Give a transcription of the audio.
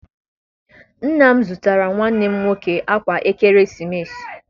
Nna m zụtara nwanne m nwoke akwa ekeresimesi.